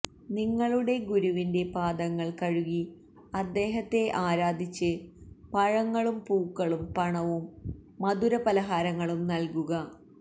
നിങ്ങളുടെ ഗുരുവിന്റെ പാദങ്ങള് കഴുകി അദ്ദേഹത്തെ ആരാധിച്ച് പഴങ്ങളും പൂക്കളും പണവും മധുരപലഹാരങ്ങളും നല്കുക